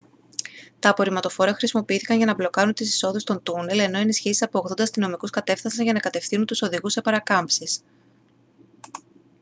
τα απορριμματοφόρα χρησιμοποιήθηκαν για να μπλοκάρουν τις εισόδους των τούνελ ενώ ενισχύσεις από 80 αστυνομικούς κατέφθασαν για να κατευθύνουν τους οδηγούς σε παρακάμψεις